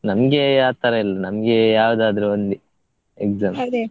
ನಮ್ಗೆ ಆತರ ಇಲ್ಲ ನಮ್ಗೆ ಯಾವದಾದ್ರೂ ಒಂದೇ.